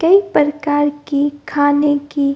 कई प्रकार की खाने की --